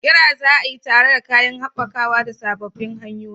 ƙira za a yi tare da kayan haɓakawa da sababbin hanyoyin.